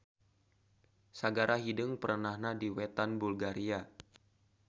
Sagara Hideung perenahna di wetan Bulgaria.